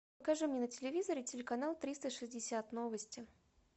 покажи мне на телевизоре телеканал триста шестьдесят новости